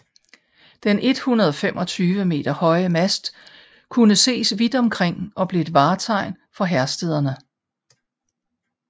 Den 125 meter høje mast kunne ses vidt omkring og blev et vartegn for Herstederne